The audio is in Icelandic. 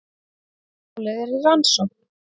Málið er í rannsókn